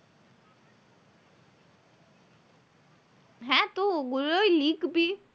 তো ওগুলোয় লিখবি।